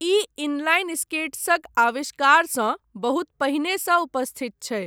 ई inline स्केट्सक आविष्कारसँ बहुत पहिनेसँ उपस्थित छै।